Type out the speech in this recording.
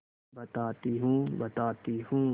बताती हूँ बताती हूँ